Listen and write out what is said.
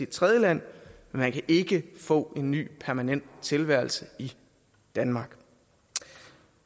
tredjeland men man kan ikke få en ny permanent tilværelse i danmark